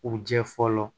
U jɛ fɔlɔ